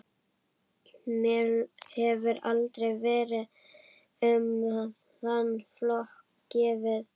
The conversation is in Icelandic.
Mér hefur aldrei verið um þann flokk gefið.